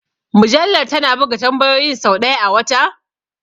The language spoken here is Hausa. Mujallar tana buga tambayoyin sau ɗaya a wata?